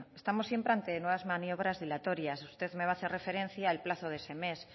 estamos siempre ante nuevas maniobras dilatorias usted me va hacer referencia al plazo de ese mes